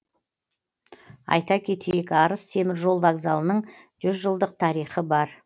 айта кетейік арыс теміржол вокзалының жүз жылдық тарихы бар